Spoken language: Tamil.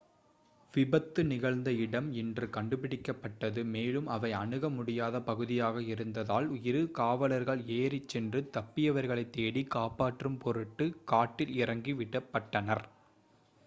விபத்து நிகழ்ந்த இடம் இன்று கண்டுபிடிக்கப்பட்டது மேலும் அவை அணுக முடியாத பகுதியாக இருந்ததால் இரு காவலர்கள் ஏறிச்சென்று தப்பியவர்களை தேடி காப்பாற்றும் பொருட்டு காட்டில் இறக்கி விடப்பட்டனர்